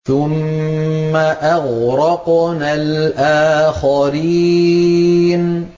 ثُمَّ أَغْرَقْنَا الْآخَرِينَ